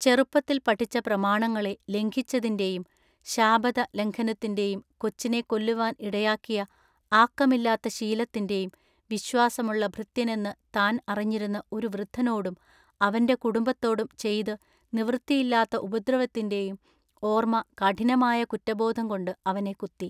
ചെറുപ്പത്തിൽ പഠിച്ച പ്രമാണങ്ങളെ ലംഘിച്ചതിൻ്റെയും ശാബത ലംഘനത്തിന്റെയും കൊച്ചിനെ കൊല്ലുവാൻ ഇടയാക്കിയ ആക്കമില്ലാത്ത ശീലത്തിന്റെയും വിശ്വാസമുള്ള ഭൃത്യനെന്നു താൻ അറിഞ്ഞിരുന്ന ഒരു വൃദ്ധനോടും അവൻ്റെ കുടുംബത്തോടും ചെയ്തു നിവൃത്തിയില്ലാത്ത ഉപദ്രവത്തിന്റെയും ഓർമ്മ കഠിനമായ കുറ്റബോധം കൊണ്ട് അവനെ കുത്തി.